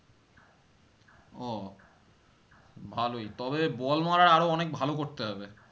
ও ভালোই তবে ball মারা আরো অনেক ভালো করতে হবে